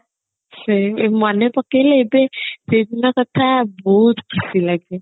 ହଁ ମନେ ପକେଇଲେ ଏବେ ସେଦିନ କଥା ବହୁତ ଖୁସି ଲାଗେ